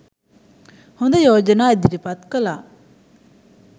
හොඳ යෝජනා ඉදිරිපත් කලා.